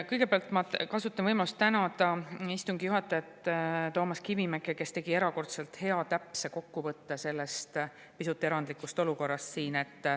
Kõigepealt ma kasutan võimalust tänada istungi juhatajat Toomas Kivimäge, kes tegi erakordselt hea, täpse kokkuvõtte sellest pisut erandlikust olukorrast siin.